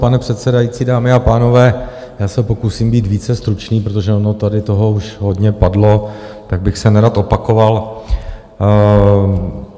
Pane předsedající, dámy a pánové, já se pokusím být více stručný, protože ono tady toho už hodně padlo, tak bych se nerad opakoval.